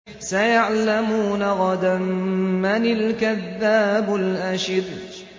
سَيَعْلَمُونَ غَدًا مَّنِ الْكَذَّابُ الْأَشِرُ